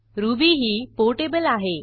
ruby ही portable आहे